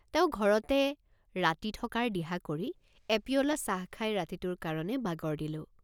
তেওঁ ঘৰতে ৰাতি থকাৰ দিহ৷ কৰি এপিয়লা চাহ খাই ৰাতিটোৰ কাৰণে বাগৰ দিলোঁ।